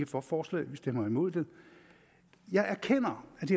for forslaget men stemmer imod det jeg erkender at det